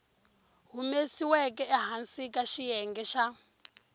humesiweke ehansi ka xiyenge xa